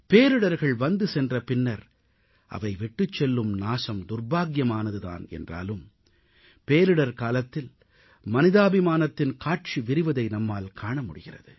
பேரிடர்கள் வந்துசென்ற பின்னர் அவை விட்டுச் செல்லும் நாசம் துர்ப்பாக்கியமானது தான் என்றாலும் பேரிடர் காலத்தில் மனிதாபிமானத்தின் காட்சி விரிவதை நம்மால் காண முடிகிறது